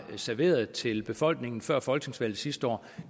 serveret til befolkningen før folketingsvalget sidste år